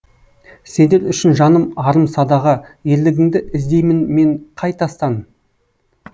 сендер үшін жаным арым садаға ерлігіңді іздеймін мен қай тастан